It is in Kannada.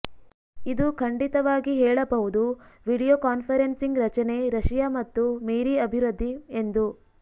ಇದು ಖಂಡಿತವಾಗಿ ಹೇಳಬಹುದು ವಿಡಿಯೋಕಾನ್ಫರನ್ಸಿಂಗ್ ರಚನೆ ರಶಿಯಾ ಮತ್ತು ಮೀರಿ ಅಭಿವೃದ್ಧಿ ಎಂದು